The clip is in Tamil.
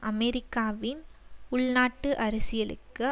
அமெரிக்காவின் உள்நாட்டு அரசியலுக்கு